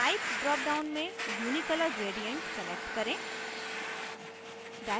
type dropdown में unicolor gradient select करें